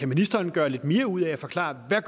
ministeren gøre lidt mere ud af at forklare hvad